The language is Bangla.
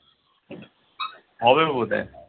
হবে বোধহয়